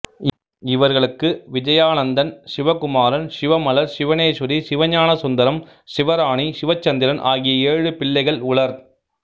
இவர்களுக்கு விஜயானந்தன் சிவகுமாரன் சிவமலர் சிவனேஸ்வரி சிவஞானசுந்தரம் சிவராணி சிவச்சந்திரன் ஆகிய ஏழு பிள்ளைகள் உளர்